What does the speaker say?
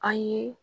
An ye